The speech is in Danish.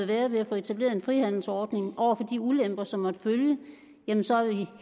være ved at få etableret en frihandelsordning over for de ulemper som måtte følge jamen så vil vi